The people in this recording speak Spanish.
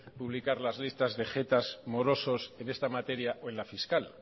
publicar las listas de jetas morosos en esta materia o en la fiscal